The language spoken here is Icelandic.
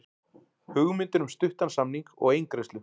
Hugmyndir um stuttan samning og eingreiðslu